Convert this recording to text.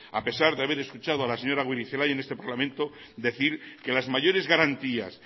a pesar de haber escuchado a la señora goirizelaia en este parlamento decir que las mayores garantías